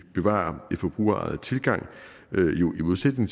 bevarer den forbrugerejede tilgang i modsætning